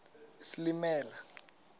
isilimela